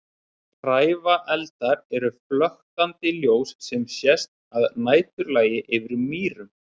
Hrævareldar eru flöktandi ljós sem sjást að næturlagi yfir mýrum.